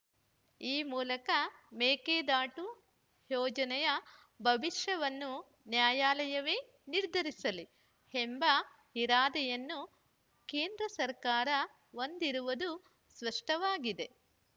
ಈ ಮೂಲಕ ಮೇಕೆದಾಟು ಯೋಜನೆಯ ಭವಿಷ್ಯವನ್ನು ನ್ಯಾಯಾಲಯವೇ ನಿರ್ಧರಿಸಲಿ ಎಂಬ ಇರಾದೆಯನ್ನು ಕೇಂದ್ರ ಸರ್ಕಾರ ಹೊಂದಿರುವುದು ಸ್ಪಷ್ಟವಾಗಿದೆ